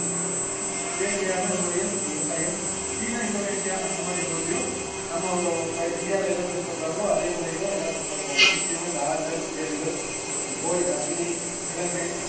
சுயேட்சையான முறையில் விவசாயம் சீனா, இந்தோனேஷியா, அந்தமாதிரி ஊர்லேயும் நம்ம தை~ இந்தியாவுல என்ன பின்பற்றாங்களோ அதே முறையில தான் எல்லாம் பின்பற்றாங்க முக்கியமா இந்த ஆறுகள், ஏரிகள், இந்த சோய்~ அ~ சுனை, கிழங்கு